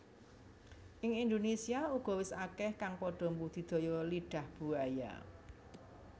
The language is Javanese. Ing Indonésia uga wis akeh kang padha mbudidaya Lidah Buaya